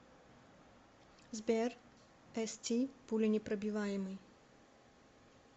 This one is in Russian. сбер эсти пуленепробиваемый